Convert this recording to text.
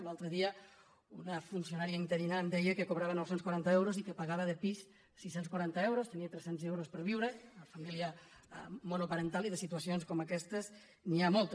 l’altre dia una funcionària interina em deia que cobrava nou cents i quaranta eu·ros i que pagava de pis sis cents i quaranta euros tenia tres cents euros per viure una família monoparental i de situacions com aquestes n’hi ha moltes